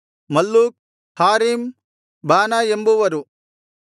Malluch Harim Baanah ಎಂಬುವರು